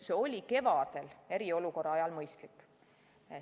See oli kevadel eriolukorra ajal mõistlik.